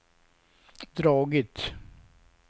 dragit